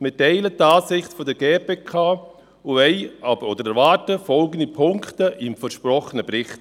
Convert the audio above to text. Wir teilen die Ansicht der GPK und erwarten folgende Punkte im versprochenen Bericht: